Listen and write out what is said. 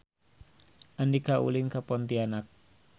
Andika ulin ka Pontianak